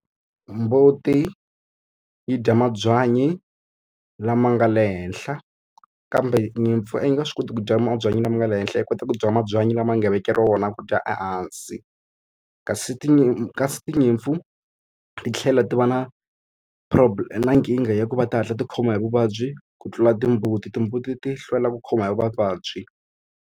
Mbuti yi dya mabyanyi lama nga le henhla, kambe nyimpfu a yi ni nga swi koti ku dya mabyanyi lama nga le henhla yi kota ku dya mabyanyi lama nga vekeriwa wona ku dya ehansi. Kasi kasi tinyimpfu kasi tinyimpfu titlhela ti va na na nkingha ya ku va ti hatla ti khoma hi vuvabyi, ku tlula timbuti. Timbuti ti hlwela ku khoma hi mavabyi.